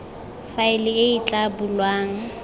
faele e e tla bulwang